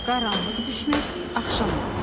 Qaranlıq düşmək, axşam olmaq.